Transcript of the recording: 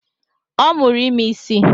Ọ mụrụ ime isị